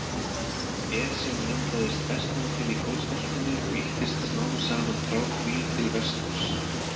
Esjan myndaðist vestan til í gosbeltinu og ýttist smám saman frá því til vesturs.